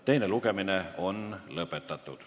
Teine lugemine on lõppenud.